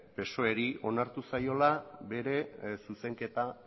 psoeri onartu zaiola bere zuzenketa